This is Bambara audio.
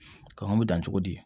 Kɔn bɛ dan cogo di